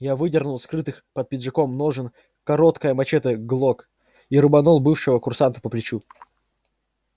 я выдернул из скрытых под пиджаком ножен короткое мачете глок и рубанул бывшего курсанта по плечу